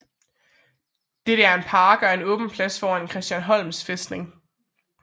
Dette er en park og en åben plads foran Christiansholm fæstning